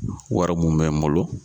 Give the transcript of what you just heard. Wari mun bɛ n bolo.